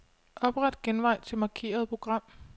Opret genvej til markerede program.